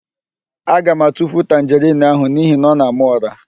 Aga m atufu tanjerịn ahụ n'ihi na ọ na-ama ụ̀rá.